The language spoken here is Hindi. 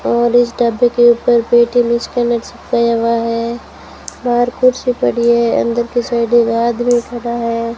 और इस ढाबे के ऊपर पेटीएम स्कैनर चिपकाया हुआ है बाहर कुर्सी पड़ी है अंदर की साइड एक आदमी खड़ा है।